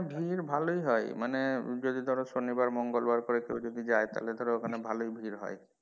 ভিড় ভালোই হয় মানে যদি ধরো সনিবার মঙ্গলবার করে যদি কেউ যায় তাহলে তো ওখানে ভালোই ভিড় হয়।